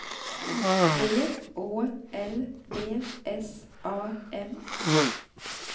V Å L D S A M